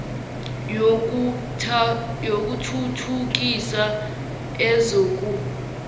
yoku thuthukisa ezoku